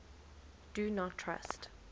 do not trust